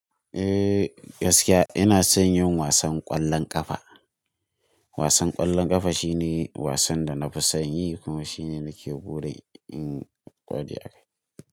Eh, gaskiya ina son yin wasan ƙwallon ƙafa. Wasan ƙwallon ƙafa shine wasan da na fi son yi kuma shine na ke burin in ƙware a kai.